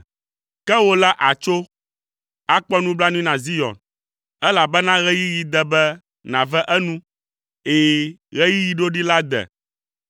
Ke wò la àtso, akpɔ nublanui na Zion, elabena ɣeyiɣi de be nàve enu, ɛ̃, ɣeyiɣi ɖoɖi la de.